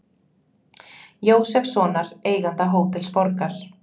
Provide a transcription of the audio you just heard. Jósefssonar, eiganda Hótels Borgar.